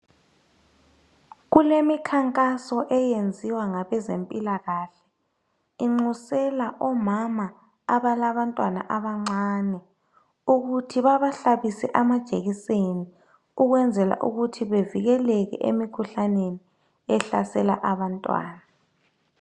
Kulemikhankaso eyenziwa ngabezempilakahle. Inxusela omama abalabantwana abancane, ukuthi babahlabise amajekiseni. Ukwenzela ukuthi bevikeleke emikhuhlaneni ehlasela abantwana.